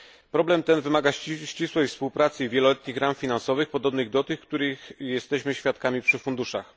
Problem ten wymaga ścisłej współpracy i wieloletnich ram finansowych podobnych do tych, których jesteśmy świadkami przy funduszach.